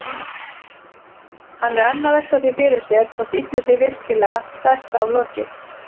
Hann er enn að velta því fyrir sér hvort illu sé virkilega best aflokið.